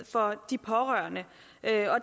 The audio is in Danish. for de pårørende